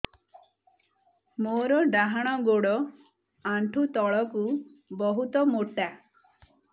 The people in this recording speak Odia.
ମୋର ଡାହାଣ ଗୋଡ ଆଣ୍ଠୁ ତଳୁକୁ ବହୁତ ମୋଟା